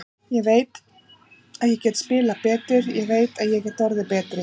Ég veit að ég get spilað betur, ég veit að ég get orðið betri.